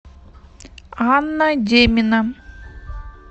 анна демина